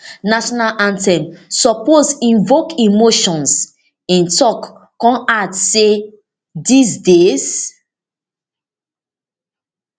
national anthem suppose invoke emotions im tok come add say dis days